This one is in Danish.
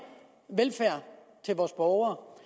velfærd til vores borgere